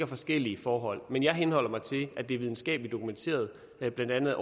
forskellige forhold men jeg henholder mig til at det er videnskabeligt dokumenteret blandt andet